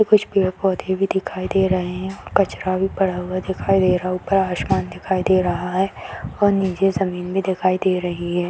कुछ पेड़ पौधे भी दिखाई दे रही है कुछ कचरा पड़ा हुआ दिखाई दे रहा है ऊपर आसमान दिखाई दे रहा है और नीचे जमीन भी दिखाई दे रही है ।